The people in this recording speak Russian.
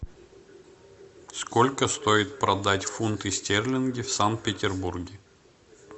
сколько стоит продать фунты стерлинги в санкт петербурге